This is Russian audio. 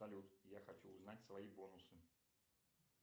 салют я хочу узнать свои бонусы